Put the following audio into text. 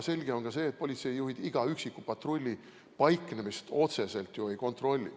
Selge on ka see, et politseijuhid iga üksiku patrulli paiknemist otseselt ju ei kontrolli.